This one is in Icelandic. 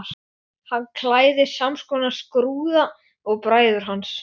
Hann klæðist samskonar skrúða og bræður hans.